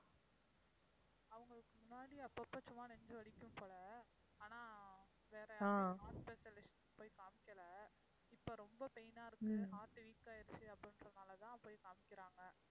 அவங்களுக்கு முன்னாடி அப்பப்ப சும்மா நெஞ்சு வலிக்கும் போல ஆனா வேற heart specialist ட்ட போய்க் காமிக்கலை. இப்ப ரொம்ப pain ஆ இருக்கு. heart weak ஆயிடுச்சு அப்படின்றதுனாலதான் போய்க் காமிக்கிறாங்க.